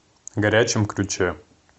горячем ключе